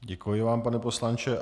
Děkuji vám, pane poslanče.